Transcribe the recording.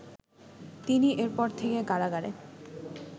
তিনি এরপর থেকে কারাগারে